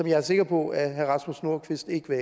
jeg er sikker på at herre rasmus nordqvist ikke vil